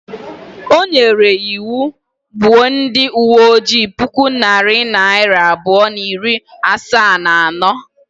O nyere iwu, gbuo ndị uwe ojii puku na narị abụọ na iri asaa na anọ